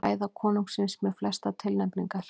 Ræða konungsins með flestar tilnefningar